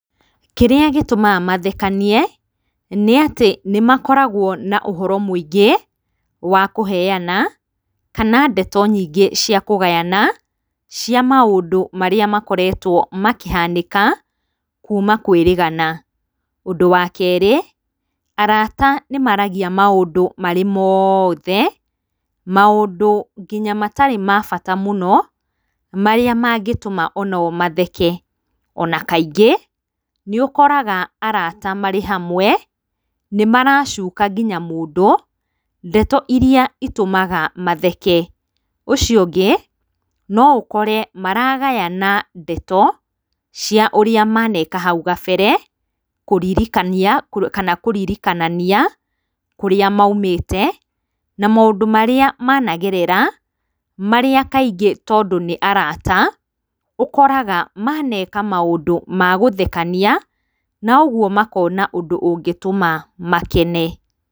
Kĩrĩa gĩtũmaga mathekanie nĩ atĩ nĩ makoragwo na ũhoro mũingĩ wa kũheana kana ndeto nyingĩ cia kũgayana cia maũndũ marĩa makoretwo makĩhanĩka kuuma kwĩrĩgana. Ũndũ wa kerĩ, arata nĩ maaragia maũndũ marĩ mothe, maũndũ nginya matarĩ ma bata mũno marĩa mangĩtũma nginya o matheke. Ona kaingĩ nĩ ũkoraga arata marĩ hamwe, nĩ maracuka nginya mũndũ ndeto irĩa itũmaga matheke. Ũcio ũngĩ no ũkore maragayana ndeto cia ũrĩa maneka hau kabere kũririkania kana kũririkanania kũrĩa maumĩte na maũndũ marĩa managerera, marĩa kaingĩ tondũ nĩ arata ũkoraga maneka maũndũ ma gũthekania, na ũguo makona ũndũ ũngĩtũma makene.